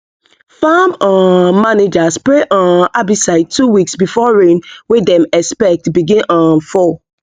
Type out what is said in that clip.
farm um manager spray um herbicide two weeks before rain wey dem expect begin um fall